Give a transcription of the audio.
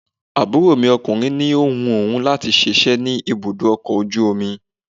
Àbúrò mi ọkùnrin ní ó wu òun láti síse ní ibùdó ọkọ̀ ojú omi.